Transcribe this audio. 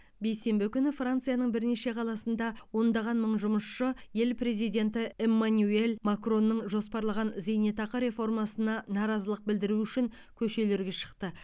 бейсенбі күні францияның бірнеше қаласында ондаған мың жұмысшы ел президенті эмманюэль макронның жоспарлаған зейнетақы реформасына наразылық білдіру үшін көшелерге шықты